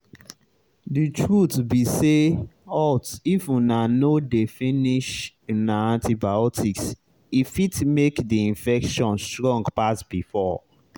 the truth be sayhalt if una no dey finish una antibiotics e fit make the infection strong pass before.